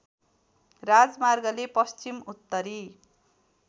राजमार्गले पश्चिम उत्तरी